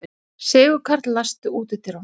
Sigurkarl, læstu útidyrunum.